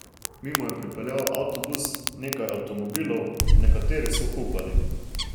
Mimo je pripeljal avtobus, nekaj avtomobilov, nekateri so hupali.